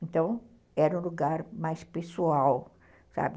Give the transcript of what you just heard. Então, era um lugar mais pessoal, sabe?